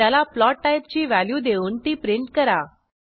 त्याला फ्लोट टाईपची व्हॅल्यू देऊन ती प्रिंट करा